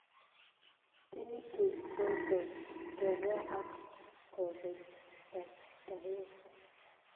Tinnitus ko tos kobwaa ak kobeet kastaet